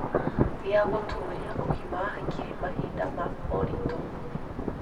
gĩa gũtũũria ũgima wa hakiri mahinda ma moritũ.